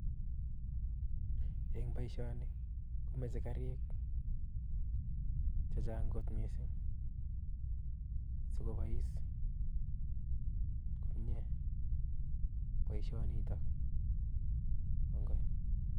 Eng boishoni komoche Garik chechang kot missing sikobois boishonitok